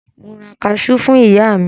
Mo ra kaṣú fún ìyá mi.